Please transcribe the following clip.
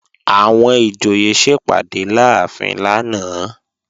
Àwọn ìjòyè sẹpàdé láàfin lánàá